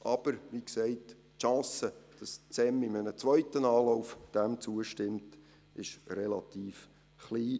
Aber wie gesagt, die Chancen, dass das SEM dem in einem zweiten Anlauf zustimmt, sind relativ klein.